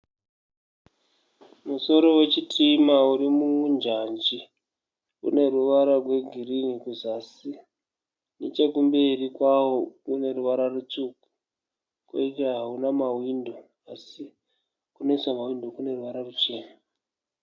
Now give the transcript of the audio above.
Musoro wechitima uri munjanji. Une ruvara rwegirini kuzasi. Nechekumberi kwavo kune ruvara rutsvuku. Kwoita hauna mahwindo asi kunoiswa mahwindo kune ruvara ruchena.